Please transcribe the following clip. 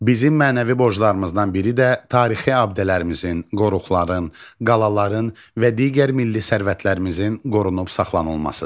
Bizim mənəvi borclarımızdan biri də tarixi abidələrimizin, qoruqların, qalaların və digər milli sərvətlərimizin qorunub saxlanılmasıdır.